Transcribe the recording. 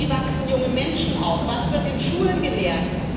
Wie wachsen junge Menschen auf, was wird in Schulen gelehrt?